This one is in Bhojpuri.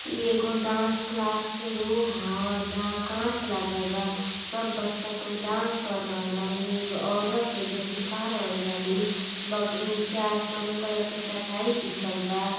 ई एगो डांस क्लास के रूम ह जहां कांच लागल बा। सब बच्चा कुल डांस कर रहल बाली। एगो औरत हई जो सीखा रहल बाली। बग नीचे आसमनी क चटाई बिछाल बा।